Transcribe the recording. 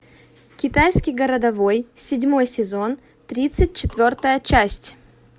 китайский городовой седьмой сезон тридцать четвертая часть